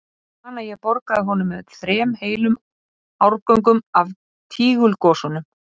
En ég man að ég borgaði honum með þrem heilum árgöngum af Tígulgosanum.